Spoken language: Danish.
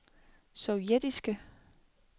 sovjetiske